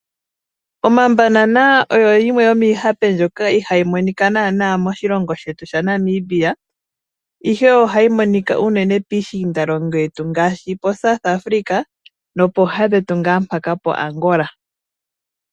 Omabanana oyo yimwe yomihape mbyoka ihayi monika nana moshilongo shetu shaNamibia ihe ohayi monika unene piishinda longo yetu ngaashi poSouth Africa nopo ha dhetu nga mpaka poAngola.